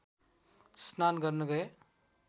स्नान गर्न गए